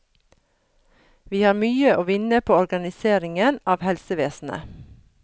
Vi har mye å vinne på organiseringen av helsevesenet.